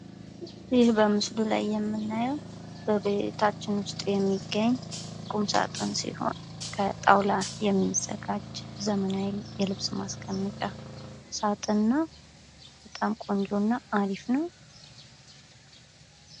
ይህ በምስሉ ላይ የምናየው በቤታችን ውስጥ የሚገኝ ቁምሳጥን ሲሆን ከጣውላ የሚዘጋጅ ዘመናዊ የልብስ ማስቀመጫ ሳጥን ነው። በጣም ቆንጆ እና አሪፍ ነው።